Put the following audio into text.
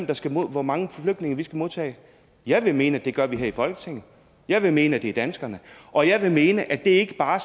bestemmer hvor mange flygtninge vi skal modtage jeg vil mene at det gør vi her i folketinget jeg vil mene at det er danskerne og jeg vil mene at det ikke bare